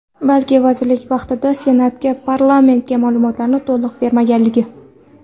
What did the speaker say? Balki vazirlik vaqtida Senatga, parlamentga ma’lumotlarni to‘liq bermaganligi.